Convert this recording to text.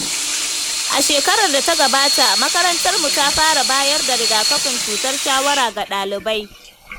A shekarar da ta gabata, makarantar mu ta fara bayar da rigakafin cutar shawara ga ɗalibai.